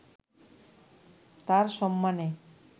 তাঁর সম্মানে